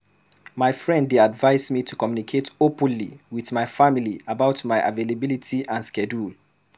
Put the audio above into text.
My friend dey advise me to communicate openly with my family about my availability and schedule.